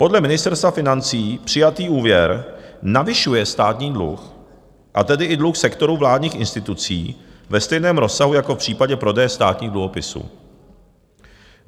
Podle Ministerstva financí přijatý úvěr navyšuje státní dluh, a tedy i dluh sektoru vládních institucí, ve stejném rozsahu jako v případě prodeje státních dluhopisů.